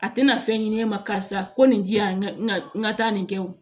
A tɛna fɛn ɲini e ma karisa ko nin di yan n ka n ka taa nin kɛ o